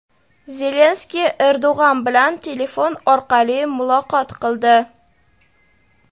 Zelenskiy Erdog‘an bilan telefon orqali muloqot qildi.